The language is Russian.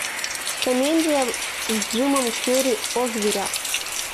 комедия с джимом керри о зверях